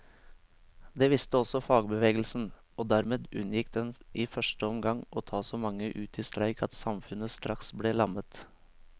Det visste også fagbevegelsen, og dermed unngikk den i første omgang å ta så mange ut i streik at samfunnet straks ble lammet.